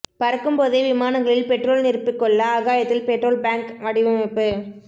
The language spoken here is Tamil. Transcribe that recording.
பறக்கும் போதே விமானங்களில் பெட்ரோல் நிரப்பிக் கொள்ள ஆகாயத்தில் பெட்ரோல் பேங்க் வடிவமைப்பு